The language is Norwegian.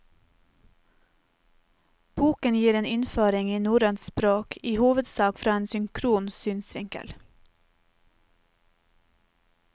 Boken gir en innføring i norrønt språk, i hovedsak fra en synkron synsvinkel.